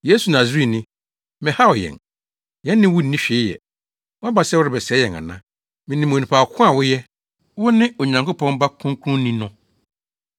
“Yesu Nasareni, mmɛhaw yɛn. Yɛne wo nni hwee yɛ. Woaba sɛ worebɛsɛe yɛn ana? Minim onipa ko a woyɛ. Wone Onyankopɔn Ba Kronkronni no.”